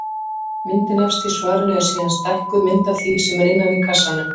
Myndin efst í svarinu er síðan stækkuð mynd af því sem er innan í kassanum.